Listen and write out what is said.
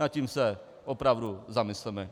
Nad tím se opravdu zamysleme.